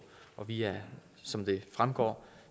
på vi er som det fremgår